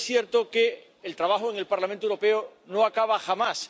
Pero es cierto que el trabajo en el Parlamento Europeo no acaba jamás.